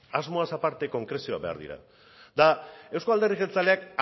asmoaz aparte konkrezioak behar dira eta euzko alderdi jeltzaleak